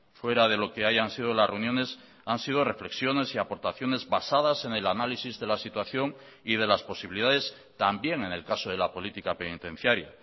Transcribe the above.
fuera de lo que hayan sido las reuniones han sido reflexiones y aportaciones basadas en el análisis de la situación y de las posibilidades también en el caso de la política penitenciaria